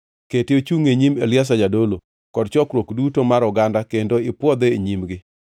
Kete ochungʼ e nyim Eliazar jadolo kod chokruok duto mar oganda kendo ipwodhe e nyimgi.